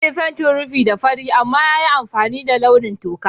Zai fentin rufin da fari amma ya yi amfani da launin toka.